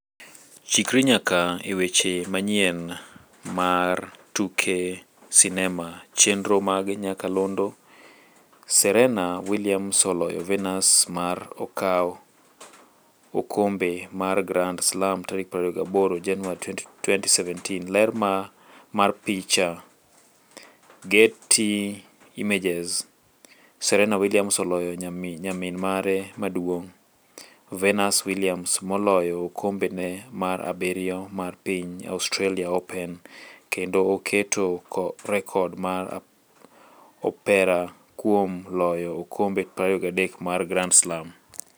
Chikri nyaka e weche manyien mar tuke sinema chenro mag nyakalondo: Serena Williams oloyo Venus ma okaw okombe mar Grand Slam tarik 28 Januari 2017. Ler mar picha, Getty Images. Serena Williams oloyo nyamin mare maduong', Venus Williams moloyo okombe ne mar abiriyo mar piny Australia open, kendo oketo rekod mar Opera kuom loyo okombe 23 mar Grand Slam.